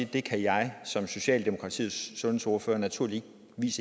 det kan jeg som socialdemokratiets sundhedsordfører naturligvis